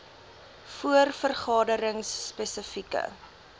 voor vergaderings spesifieke